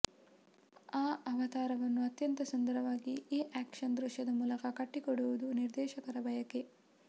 ಆ ಅವತಾರವನ್ನು ಅತ್ಯಂತ ಸುಂದರವಾಗಿ ಈ ಆಕ್ಷನ್ ದೃಶ್ಯದ ಮೂಲಕ ಕಟ್ಟಿಕೊಡುವುದು ನಿರ್ದೇಶಕರ ಬಯಕೆ